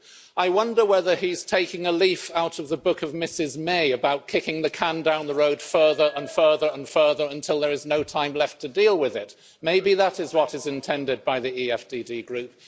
I wonder whether he's taking a leaf out of the book of Mrs May about kicking the can down the road further and further and further until there is no time left to deal with it maybe that is what is intended by the EFDD Group?